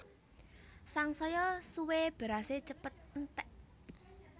Sangsaya suwé berasé cepet enték